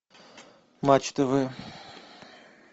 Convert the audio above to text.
матч тв